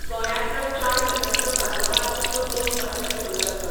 गोंयांतलो चार दिसांचो कार्नावाल उत्सव दोन मार्चाक सुरू जातलो.